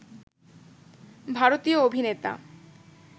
ভারতীয় অভিনেতা